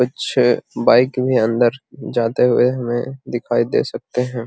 अच्छे बाइक भी अंदर जाते हुए हमें दिखाई दे सकते हैं |